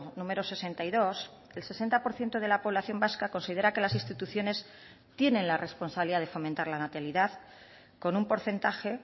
número sesenta y dos el sesenta por ciento de la población vasca considera que las instituciones tienen la responsabilidad de fomentar la natalidad con un porcentaje